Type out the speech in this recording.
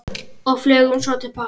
Og flugum svo til baka.